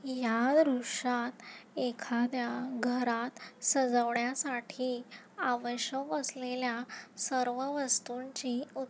या दृश्यात एखाद्या घरात सजवण्यासाठी आवश्यक असलेल्या सर्व वस्तूंची उप--